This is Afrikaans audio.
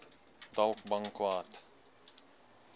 dalk bang kwaad